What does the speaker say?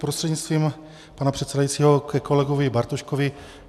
Prostřednictvím pana předsedajícího ke kolegovi Bartoškovi.